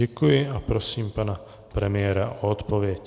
Děkuji a prosím pana premiéra o odpověď.